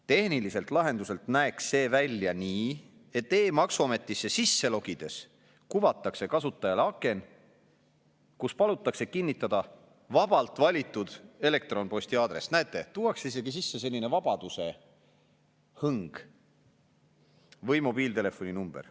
Tehniliselt lahenduselt näeks see välja nii, et e-maksuametisse sisse logides kuvatakse kasutajale aken, kus palutakse kinnitada vabalt valitud elektronposti aadress – näete, tuuakse isegi sisse selline vabaduse hõng – või mobiiltelefoni number.